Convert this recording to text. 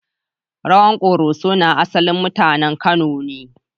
Rawan Koroso na asalin mutanen Kano ne.